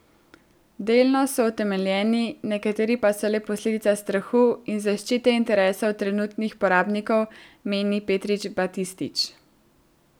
Delno so utemeljeni, nekateri pa so le posledica strahu in zaščite interesov trenutnih uporabnikov, meni Peter Batistič.